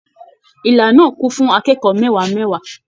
Ìla náà kún fún akẹ́kọ̀ọ́ mẹwa mẹwa.